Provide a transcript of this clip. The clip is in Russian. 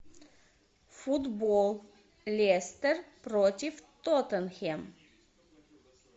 футбол лестер против тоттенхэм